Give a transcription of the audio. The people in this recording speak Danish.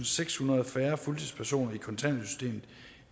sekshundrede færre fuldtidspersoner